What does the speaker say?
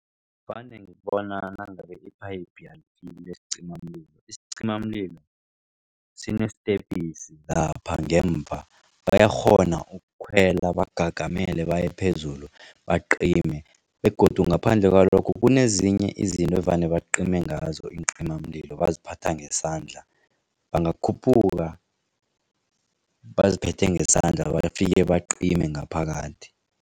Vane ngibona nangabe iphayiphu alifiki lesicimamlilo. Isicimamlilo sinetepisi lapha ngemva bayakghona ukukhwela bangagagamele bayephezulu bacime begodu ngaphandle kwalokho kunezinye izinto evane bacime ngazo iincimamlilo baziphatha ngesandla bangakhuphuka baziphethe ngesandla bafike bacime ngaphakathi.